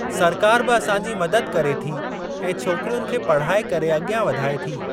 सरकार बि असांजी मदद करे थी ऐं छोकिरियुनि खे पढ़ाए करे अॻियां वधाए थी।